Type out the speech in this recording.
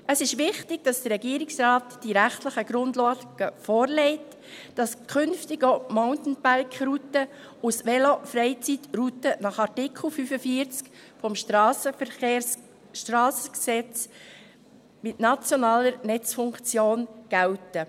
Es ist wichtig, dass der Regierungsrat die rechtlichen Grundlagen vorlegt, dass künftig auch die Mountainbike-Routen nach Artikel 45 Strassengesetz (SG) als Velofreizeitrouten mit nationaler Netzfunktion gelten.